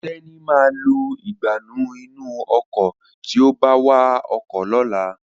Teni má lo Ìgbánú inú ọkọ̀ tíó bá wá ọkọ̀ lọ̀la